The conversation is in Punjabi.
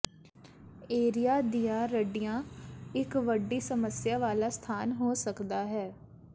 ਏਰੀਆ ਦੀਆਂ ਰੱਡੀਆਂ ਇੱਕ ਵੱਡੀ ਸਮੱਸਿਆ ਵਾਲਾ ਸਥਾਨ ਹੋ ਸਕਦਾ ਹੈ